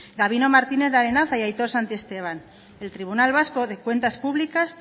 gabino martinez de arenaza y aitor santiesteban el tribunal vasco de cuentas públicas